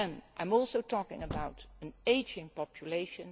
with it. I am also talking about an ageing